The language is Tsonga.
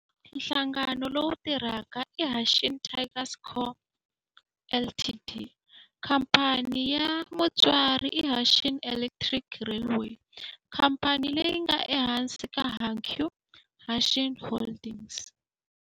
Nhlangano lowu tirhaka i Hanshin Tigers Co., Ltd. Khamphani ya mutswari i Hanshin Electric Railway, khamphani leyi nga ehansi ka Hankyu Hanshin Holdings.